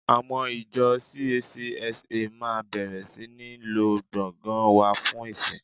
Àwọn ìjọ CACSA máa bẹ̀rẹ̀ sí ní lo gbọ̀ngàn wa fún ìsìn